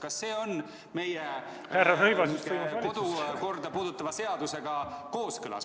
Kas see on meie kodukorda puudutava seadusega kooskõlas?